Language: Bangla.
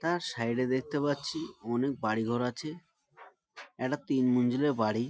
তার সাইড -এ দেখতে পাচ্ছি অনেক বাড়ি ঘর আছে একটা তিন মঞ্জিলের বাড়ি--